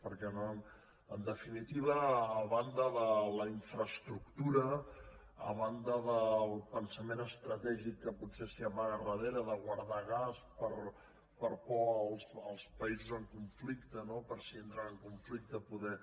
perquè en definitiva a banda de la infraestructura a banda del pensament estratègic que potser s’amaga al darrere de guardar gas per por als països en conflicte no per si entren en conflicte poder